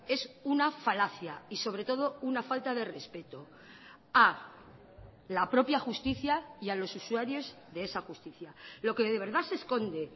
es una falacia y sobre todo una falta de respeto a la propia justicia y a los usuarios de esa justicia lo que de verdad se esconde